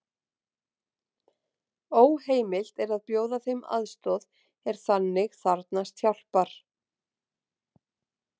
Óheimilt er að bjóða þeim aðstoð er þannig þarfnast hjálpar.